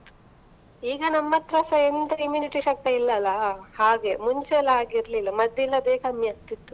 ಈಗ ನಮ್ಮತ್ರಸ ಎಂತ immunity ಶಕ್ತಿ ಇಲ್ಲಾ ಅಲ್ಲ, ಹಾಗೆ ಮುಂಚೆಯೆಲ್ಲಾ ಹಾಗೆ ಇರ್ಲಿಲ್ಲ, ಮದ್ದಿಲ್ಲದೆಯೇ ಕಮ್ಮಿ ಆಗ್ತಿತ್ತು.